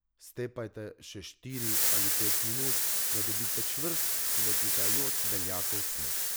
Stepajte še štiri ali pet minut, da dobite čvrst, svetlikajoč beljakov sneg.